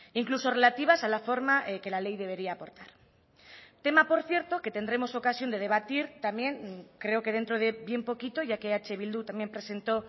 incluso relativas a la forma que la ley debería aportar tema por cierto que tendremos ocasión de debatir también creo que dentro de bien poquito ya que eh bildu también presentó